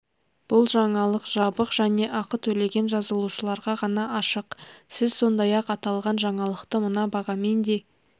бұл жаңалық жабық және ақы төлеген жазылушыларға ғана ашық сіз сондай-ақ аталған жаңалықты мына бағамен де